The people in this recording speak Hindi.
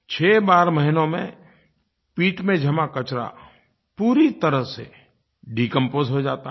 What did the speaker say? छहबारह महीनों में पिट में जमा कचरा पूरी तरह से डिकंपोज हो जाता है